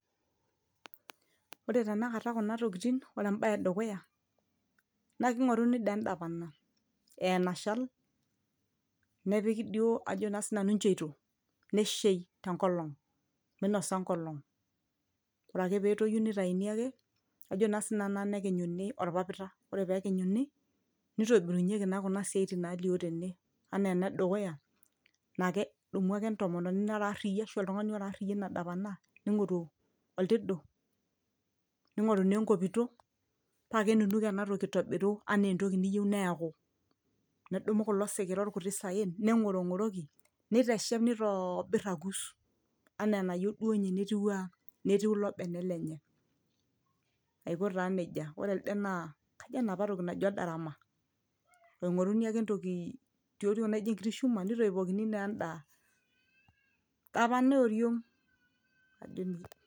ore tenakata kuna tokiting ore embaye edukuya naa kig'oruni dee endapana enashal nepiki duo ajo naa sinanu incheito neshei tenkolong minosa enkolong ore ake petoyu nitainii ake ajo naa sinanu naa nekinyuni orpapita ore peekinyuni nitobirunyieki naa kuna siaitin nalio tene anaa ena edukuya naaa kedumu ake entomononi nara arriyia ashu oltung'ani ora arriyia ena dapana ning'oru oltidu ning'oru naa enkoito paa kenunuk enatoki aitobiru anaa entoki niyieu neeku nedumu kulo sikira orkuti saen neng'orong'oroki niteshep nitoobirr akus anaa enayieu duo ninye netiwua netiu ilo bene lenye aiko taa nejia ore elde naa kajo enapa toki naji odarama oing'oruni ake entoki tioriong naijo enkiti shuma nitoipokini naa enda dapana ioriong.